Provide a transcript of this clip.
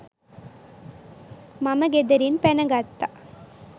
මම ගෙදරින් පැන ගත්තා.